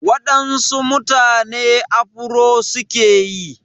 Waɗansu mutane afuro suke yi.